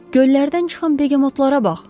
Göllərdən çıxan begam oxlara bax.